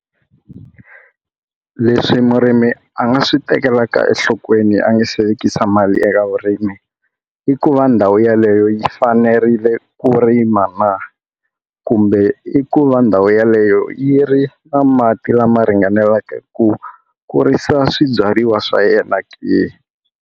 Leswi murimi a nga swi tekelaka enhlokweni a nga se vekisa mali eka vurimi i ku va ndhawu yeleyo yi fanerile ku ri rima na? kumbe i ku va ndhawu yeleyo yi ri na mati lama ringaneleke ku kurisa swibyariwa swa yena ke?